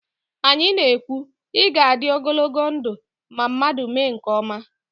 Anyị na- ekwu, 'ị ga-adị ogologo ndụ' ma mmadụ mee nke ọma